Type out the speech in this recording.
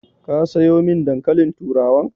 Ka sayo min dankalin turawan?